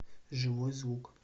живой звук